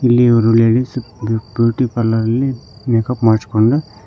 ಇಲ್ಲಿ ಒಂದು ladies beauty ಪಾರ್ಲರಲ್ಲಿ ಮೇಕಪ್ ಮಾಡ್ಸ್ಕೊಂಡು--